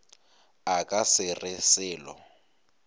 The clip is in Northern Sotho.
a ka se re selo